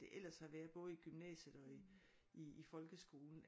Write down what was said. Det ellers har været både i gymnasiet og i i folkeskolen